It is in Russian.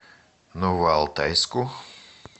новоалтайску